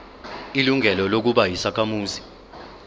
ilungelo lokuba yisakhamuzi